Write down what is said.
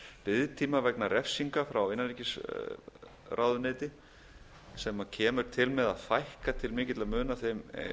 biðtíma vegna refsinga frá innanríkisráðuneyti sem kemur til með að fækka til mikilla muna þeim